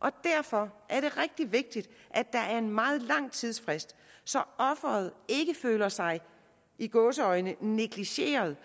og derfor er det rigtig vigtigt at der er en meget lang tidsfrist så offeret ikke føler sig i gåseøjne negligeret